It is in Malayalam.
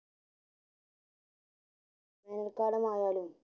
വേനൽ കാലം ആയാലും